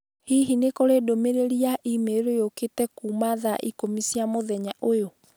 Hihi nĩ kũrĩ ndũmĩrĩri ya e-mail ĩũkĩte kuuma thaa ikũmi cia mũthenya ũyũ?